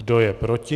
Kdo je proti?